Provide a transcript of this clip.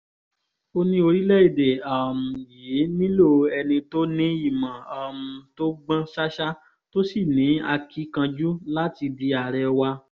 ó ní orílẹ̀‐èdè um yìí nílò ẹni tó ní ìmọ̀ um tó gbọ́n ṣáṣá tó sì ní akíkanjú láti di àárẹ̀ wa